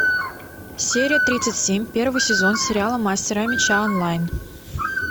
серия тридцать семь первый сезон сериала мастера меча онлайн